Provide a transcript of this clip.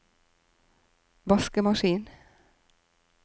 vaskemaskin